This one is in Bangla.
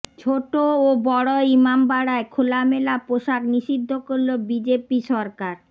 ছোট ও বড় ইমামবাড়ায় খোলামেলা পোশাক নিষিদ্ধ করল বিজেপি সরকার